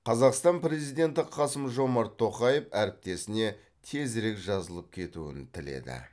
қазақстан президенті қасым жомарт тоқаев әріптесіне тезірек жазылып кетуін тіледі